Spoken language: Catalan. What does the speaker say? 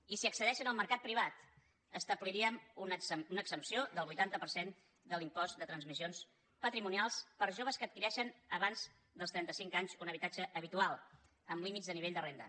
i si accedeixen al mercat privat establiríem una exempció del vuitanta per cent de l’impost de transmissions patrimonials per a joves que adquireixen abans dels trentacinc anys un habitatge habitual amb límits de nivell de renda